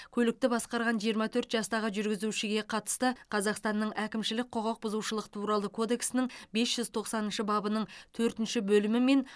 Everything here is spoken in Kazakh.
көлікті басқарған жиырма төрт жастағы жүргізушіге қатысты қазақстанның әкімшілік құқықбұзушылық туралы кодексінің бес жүз тоқсаныншы бабының төртінші бөлімімен